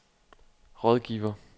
rådgiver